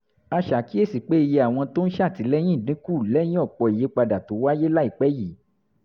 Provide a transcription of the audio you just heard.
a ṣàkíyèsí pé iye àwọn tó ń ṣètìlẹyìn dín kù lẹ́yìn ọ̀pọ̀ ìyípadà tó wáyé láìpẹ́ yìí